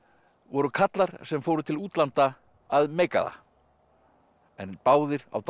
voru karlar sem fóru til útlanda að meika það en báðir á dálítið